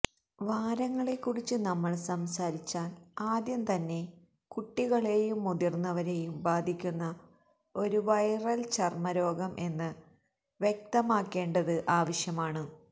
വാരങ്ങളെക്കുറിച്ച് നമ്മൾ സംസാരിച്ചാൽ ആദ്യം തന്നെ കുട്ടികളെയും മുതിർന്നവരെയും ബാധിക്കുന്ന ഒരു വൈറൽ ചർമ്മരോഗം എന്ന് വ്യക്തമാക്കേണ്ടത് ആവശ്യമാണ്